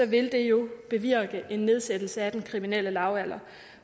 vil det jo bevirke en nedsættelse af den kriminelle lavalder